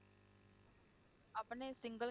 ਆਪਣੇ single